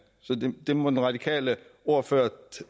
så det må den radikale ordfører